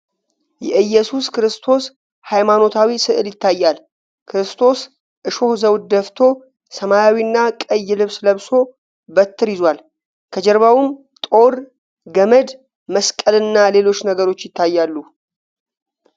የኢየሱስ ክርስቶስ ሃይማኖታዊ ሥዕል ይታያል:: ክርስቶስ እሾህ ዘውድ ደፍቶ፣ ሰማያዊና ቀይ ልብስ ለብሶ በትር ይዟል:: ከጀርባውም ጦር፣ ገመድ፣ መስቀልና ሌሎች ነገሮች ይታያሉ ::